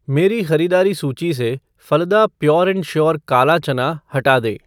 मेरी ख़रीदारी सूची से फलदा प्योर एँड श्योर काला चना हटा दें